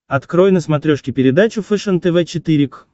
открой на смотрешке передачу фэшен тв четыре к